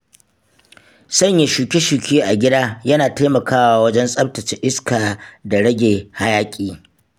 Sanya shuke-shuke a gida yana taimakawa wajen tsaftace iska da rage hayaƙi.